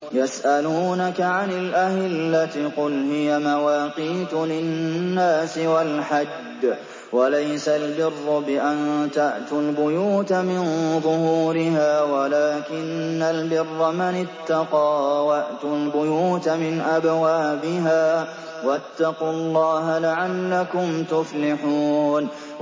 ۞ يَسْأَلُونَكَ عَنِ الْأَهِلَّةِ ۖ قُلْ هِيَ مَوَاقِيتُ لِلنَّاسِ وَالْحَجِّ ۗ وَلَيْسَ الْبِرُّ بِأَن تَأْتُوا الْبُيُوتَ مِن ظُهُورِهَا وَلَٰكِنَّ الْبِرَّ مَنِ اتَّقَىٰ ۗ وَأْتُوا الْبُيُوتَ مِنْ أَبْوَابِهَا ۚ وَاتَّقُوا اللَّهَ لَعَلَّكُمْ تُفْلِحُونَ